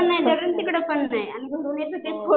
हो.